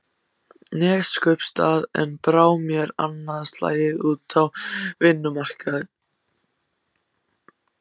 Neskaupstað en brá mér annað slagið út á vinnumarkaðinn.